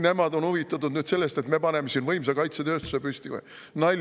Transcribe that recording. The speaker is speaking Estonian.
Nemad on huvitatud nüüd sellest, et me paneme siin võimsa kaitsetööstuse püsti või?